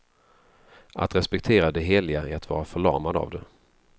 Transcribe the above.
Att respektera det heliga är att vara förlamad av det.